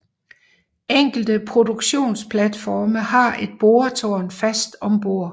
Enkelte produktionsplatforme har et boretårn fast om bord